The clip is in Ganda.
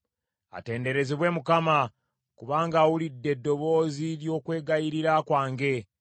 Atenderezebwe Mukama , kubanga awulidde eddoboozi ly’okwegayirira kwange.